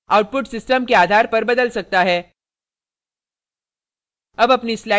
output system के आधार पर बदल सकता है